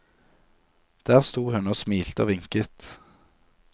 Der sto hun og smilte og vinket.